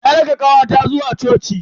Na raka kawata zuwa coci.